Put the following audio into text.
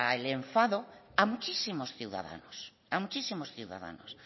el enfado a muchísimos ciudadanos a muchísimos ciudadanos